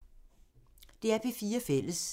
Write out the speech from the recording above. DR P4 Fælles